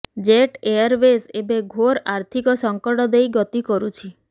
jet Airways ଏବେ ଘୋର ଆର୍ଥିକ ସଙ୍କଟ ଦେଇ ଗତି କରୁଛି